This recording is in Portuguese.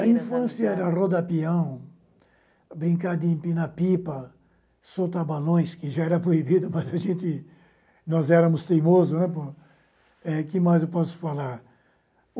A infância era rodar pião, brincar de empinar pipa, soltar balões, que já era proibido, mas nós éramos teimosos. Eh, que mais eu posso falar